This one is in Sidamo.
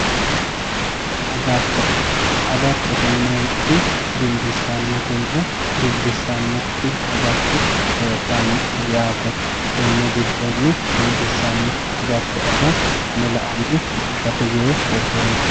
aggatto agattote yineemmoti dimbissanotinna dimbissannokkiti heedhanno yaate tenne giddonni dimbissanno agatto aga ane laonni bushate yee hedeemmo,